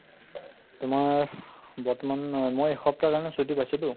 তোমাৰ বৰ্তমান অ মই এসপ্তাহৰ কাৰণে ছুটী পাইছিলো